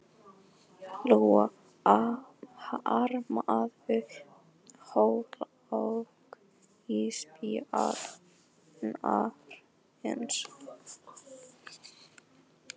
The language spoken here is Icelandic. Lóa: Harmarðu örlög ísbjarnarins?